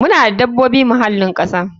Muna da dabobin muhallin kasa.